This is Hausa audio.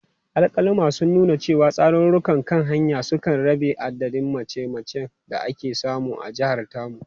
Alkaluma sun nuna cewa, hatsarurrukan kan hanya sun kai rabin adadin mace-macen da ake samu a jihar tamu.